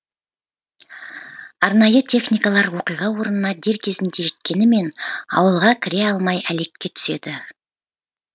арнайы техникалар оқиға орнына дер кезінде жеткенімен аулаға кіре алмай әлекке түседі